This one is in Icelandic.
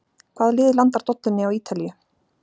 Hvaða lið landar dollunni á Ítalíu?